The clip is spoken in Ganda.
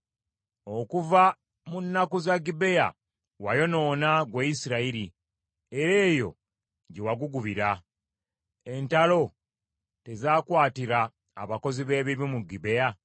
Okuva mu nnaku za Gibea, wayonoona, ggwe Isirayiri era eyo gye wagugubira. Entalo tezakwatira abakozi b’ebibi mu Gibea?